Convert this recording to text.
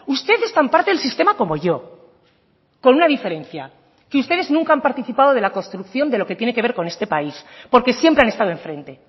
usted es tan parte del sistema como yo con una diferencia que ustedes nunca han participado de la construcción de lo que tiene que ver con este país porque siempre han estado enfrente